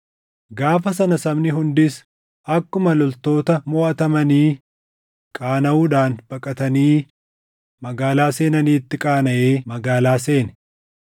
Gaafa sana sabni hundis akkuma loltoota moʼatamanii qaanaʼuudhaan baqatanii magaalaa seenaniitti qaanaʼee magaalaa seene.